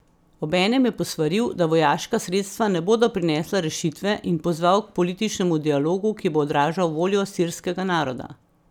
Obenem je posvaril, da vojaška sredstva ne bodo prinesla rešitve, in pozval k političnemu dialogu, ki bo odražal voljo sirskega naroda.